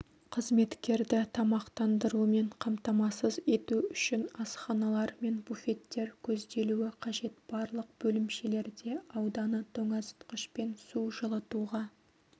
қызметкерді тамақтандырумен қамтамасыз ету үшін асханалар мен буфеттер көзделуі қажет барлық бөлімшелерде ауданы тоңазытқышпен су жылытуға